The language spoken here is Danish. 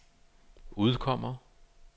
udkommer